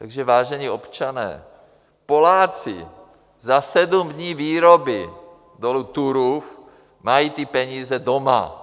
Takže, vážení občané, Poláci za sedm dní výroby dolu Turów mají ty peníze doma.